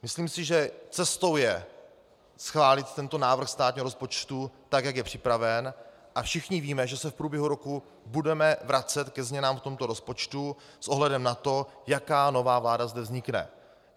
Myslím si, že cestou je schválit tento návrh státního rozpočtu tak, jak je připraven, a všichni víme, že se v průběhu roku budeme vracet ke změnám v tomto rozpočtu s ohledem na to, jaká nová vláda zde vznikne.